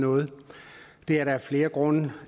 noget det er der af flere grunde